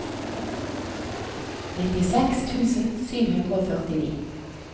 nittiseks tusen sju hundre og førtini